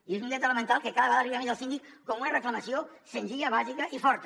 i és un dret elemental que cada vegada arriba més al síndic com una reclamació senzilla bàsica i forta